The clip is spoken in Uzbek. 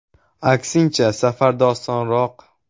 Aksincha, safarda osonroq.